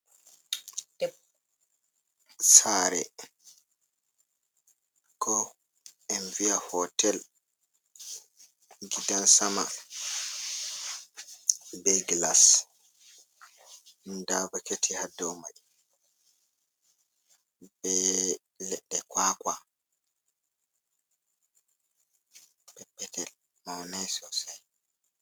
Sare ko en viya hotel, gidansama be glas, nda bukati ha domai be ledde kwakwa peppetel maunai sosai.